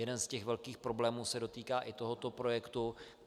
Jeden z těch velkých problémů se dotýká i tohoto projektu.